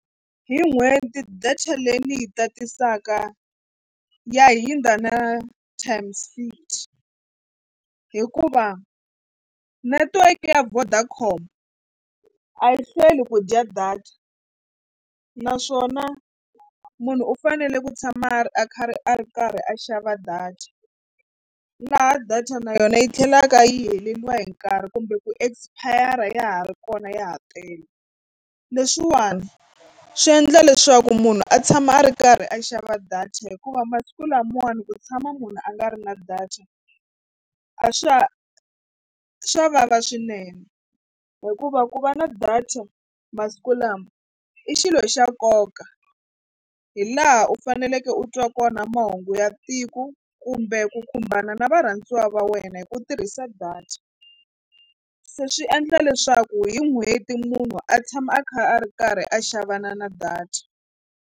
Hi n'hweti data leyi ni yi tatisaka ya hindza na times fifty hikuva netiweke ya Vodacom a yi hlweli ku dya data naswona munhu u fanele ku tshama a ri a khari a ri karhi a xava data laha data na yona yi tlhelaka yi heleriwa hi nkarhi kumbe ku expire ya ha ri kona ya ha tele. Leswiwani swi endla leswaku munhu a tshama a ri karhi a xava data hikuva masiku lamawani ku tshama munhu a nga ri na data a swa swa vava swinene hikuva ku va na data masiku lama i xilo xa nkoka hi laha u faneleke u twa kona mahungu ya tiko kumbe ku khumbana na varhandziwa va wena hi ku tirhisa data se swi endla leswaku hi n'hweti munhu a tshama a kha a ri karhi a xavana na data.